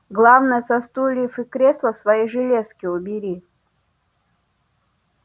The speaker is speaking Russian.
главное со стульев и кресла свои железки убери